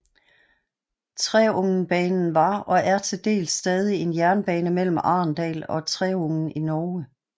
Treungenbanen var og er til dels stadig en jernbane mellem Arendal og Treungen i Norge